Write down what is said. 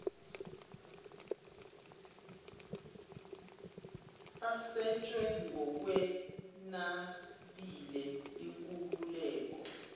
aseshwe ngokwenabile inkululeko